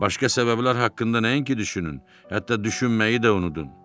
Başqa səbəblər haqqında nəinki düşünün, hətta düşünməyi də unudun.